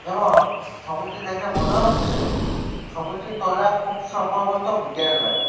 এবং ছবিটি দেখে মনে হচ্ছে ছবিটি তোলা খুব সম্ভবত বিকেল বেলা।